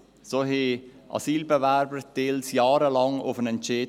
So warteten Asylbewerber zum Teil jahrelang auf einen Entscheid.